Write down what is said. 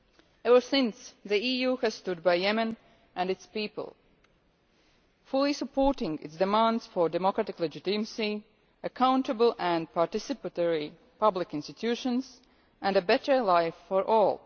Ever since, the EU has stood by Yemen and its people, fully supporting its demands for democratic legitimacy, accountable and participatory public institutions, and a better life for all.